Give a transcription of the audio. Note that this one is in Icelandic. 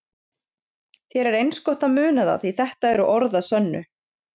Þér er eins gott að muna það því þetta eru orð að sönnu.